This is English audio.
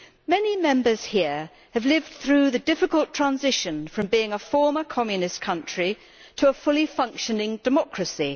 Many Members here have lived through the difficult transition from being a former Communist country to a fully functioning democracy.